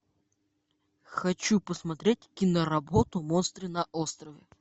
хочу посмотреть киноработу монстры на острове